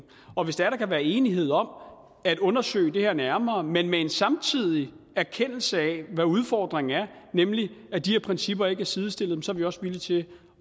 og hvis der kan være enighed om at undersøge det her nærmere men med en samtidig erkendelse af hvad udfordringen er nemlig at de her principper ikke er sidestillet så er vi også villige til